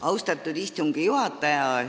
Austatud istungi juhataja!